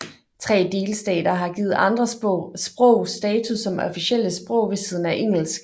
Tre delstater har givet andre sprog status som officielle sprog ved siden af engelsk